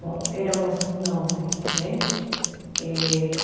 Bom, éramos nove. Né eh